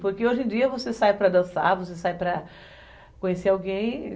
Porque, hoje em dia, você sai para dançar, você sai para conhecer alguém.